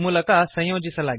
ಮೂಲಕ ಸಂಯೋಜಿಸಲಾಗಿದೆ